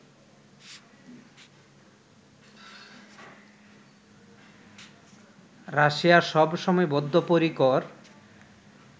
Russia সবসময় বদ্ধপরিকর